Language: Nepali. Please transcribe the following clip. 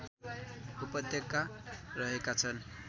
उपत्यका रहेका छन्